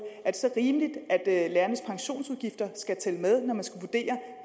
så er rimeligt at lærernes pensionsudgifter skal tælle med når man skal vurdere